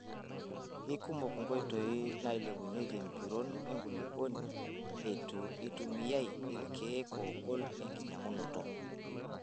Keikumok nkoitoi nailepunyieki empiron enkulupuoni etu eitumiae irkiek ogol enkinyiang'unoto.